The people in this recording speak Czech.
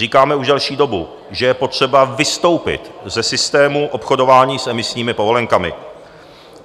Říkáme už delší dobu, že je potřeba vystoupit ze systému obchodování s emisními povolenkami.